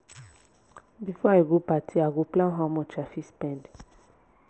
before i go party i go plan how much i fit spend.